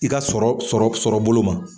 I ka sɔrɔ sɔrɔ bolo ma